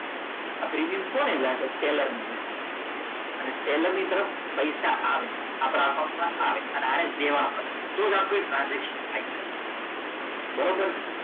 આ પ્રીમિયમ કોને જશે સેલરને અને સેલરની તરફ પૈસા આવે આપણે એકાઉન્ટમાં આવે અને દેવા પડે તો જ આપણું ટ્રાન્સલેશન થાય બરાબર છે.